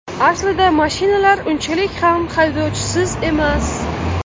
Aslida mashinalar unchalik ham haydovchisiz emas.